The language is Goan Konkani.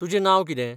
तुजें नांव कितें?